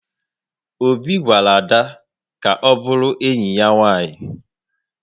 Obi gwara Ada ka ọ bụrụ enyi ya nwanyị